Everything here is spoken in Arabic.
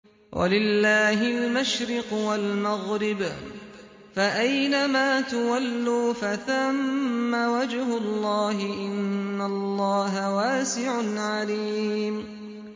وَلِلَّهِ الْمَشْرِقُ وَالْمَغْرِبُ ۚ فَأَيْنَمَا تُوَلُّوا فَثَمَّ وَجْهُ اللَّهِ ۚ إِنَّ اللَّهَ وَاسِعٌ عَلِيمٌ